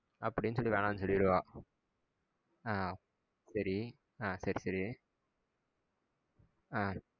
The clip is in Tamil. அப்டின்னு சொல்லி வேணாம் சொல்லிருவா ஆஹ் சேரி ஆஹ் சேர் சேரி ஆஹ்